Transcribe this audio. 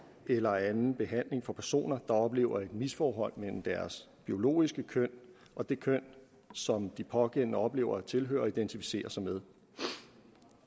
eller anden behandling for personer der oplever et misforhold mellem deres biologiske køn og det køn som de pågældende oplever at tilhøre og identificerer sig med